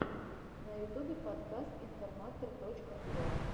на ютубе подкаст информатор точка уа